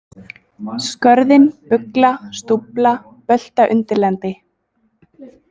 Skörðin, Bugla, Stúfla, Böltaundirlendi